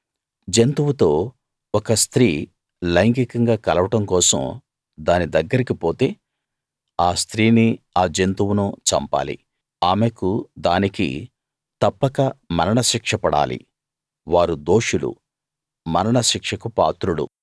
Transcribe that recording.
జంతువుతో ఒక స్త్రీ లైంగికంగా కలవడం కోసం దాని దగ్గరికి పోతే ఆ స్త్రీని ఆ జంతువును చంపాలి ఆమెకు దానికి తప్పక మరణ శిక్ష పడాలి వారు దోషులు మరణ శిక్షకు పాత్రులు